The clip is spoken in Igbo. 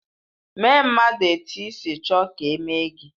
Mee mmadụ etu isi chọọ ka eme gị.